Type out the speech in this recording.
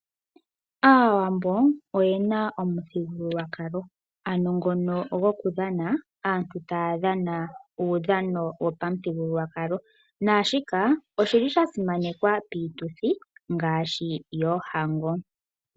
Aawambo oyena omuthigululwakalo ano ngono gokudhana, aantu taya dhana uudhano wopamuthigululwakalo naashika oshili shasimanekwa piituthi ngaashi yoohango.